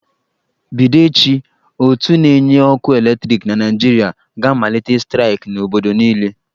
Bido echi, ótú na-enye ọkụ eletriki na Naịjirịa ga-amalite staịk n'obodo niile.